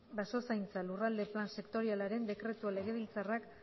basozaintzako lurralde plan sektorialaren dekretua legebiltzarrak